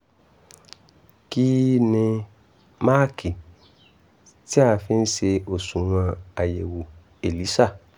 kí ni máàkì tí a fi ń ṣe òṣùwọ̀n àyẹ̀wò elisa?